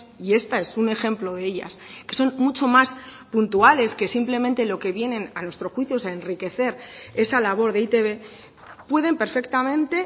y esta es un ejemplo de ellas que son mucho más puntuales que simplemente lo que vienen a nuestro juicio a enriquecer esa labor de e i te be pueden perfectamente